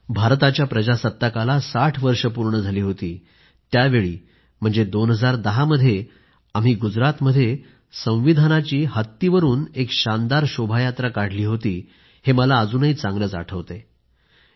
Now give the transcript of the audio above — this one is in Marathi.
भारताच्या प्रजासत्ताकाला 60 वर्ष झाली होती त्यावेळी 2010मध्ये आम्ही गुजरातमध्ये हत्तीवर राज्यघटना ठेवून एक शानदार शोभायात्रा काढली होती हे मला अजूनही चांगलंच आठवतंय